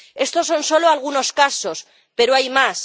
Estos son solo algunos casos, pero hay más.